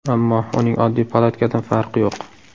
Ammo uning oddiy palatkadan farqi yo‘q.